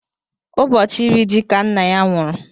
Ụbọchị iri ji ka nna ya nwụrụ.